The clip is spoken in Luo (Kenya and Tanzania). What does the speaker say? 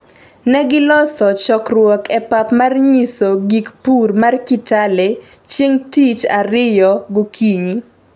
ne giloso chokruok e pap mar nyiso gik pur mar Kitale chieng' tich ariyo gokinyi